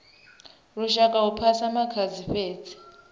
lushaka hu phasa makhadzi fhedzi